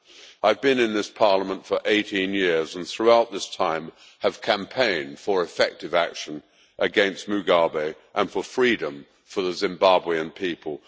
I have been in this Parliament for 18 years and, throughout this time, have campaigned for effective action against Mugabe and for freedom for the Zimbabwean people.